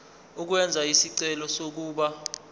ukwenza isicelo sokuba